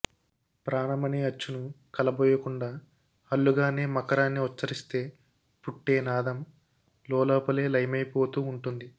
ప్రాణమనే అచ్చును కలబోయకుండా హల్లుగానే మకారాన్ని ఉచ్చరిస్తే పుట్టే నాదం లోలోపలే లయమైపోతూ ఉంటుంది